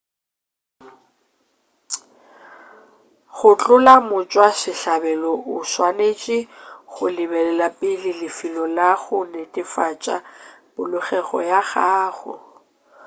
go hlola motšwasehlabelo o swanetše o lebelele pele lefelo la go netefatša polokego ya gago